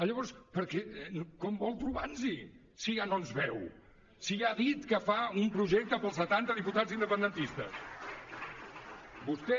llavors com vol trobar nos hi si ja no ens veu si ja ha dit que fa un projecte per als setanta diputats independentistes vostè